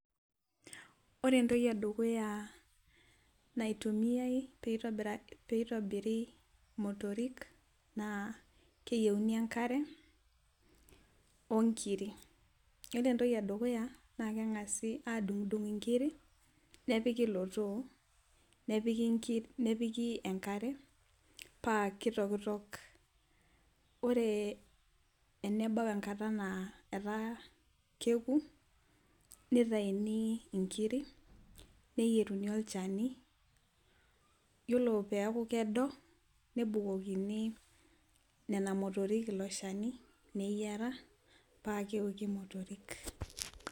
Ore entoki edukuya naitumiae, pee itobiri imotorik, naa keyieuni enkare, onkiri. ore entoki edukuya naa keng'asi, adungidung' nkiri, nepiki ilo too nepiki enkare, paa kitokotok. ore enebau enkata naa etaa keki, notayuni nkiri ,neyieruni olchani. iyiolo peeku kedo, nebukokini nena motorik ilo shani, neyiara paa keoki motorik.